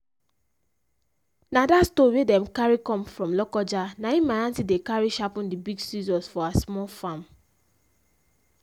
na that stone wey dem carry come from lokoja na him my aunty dey carry sharpen the big sicssors for her small farm.